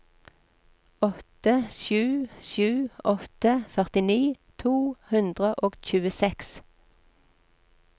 åtte sju sju åtte førtini to hundre og tjueseks